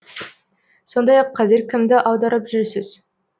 сондай ақ қазір кімді аударып жүрсіз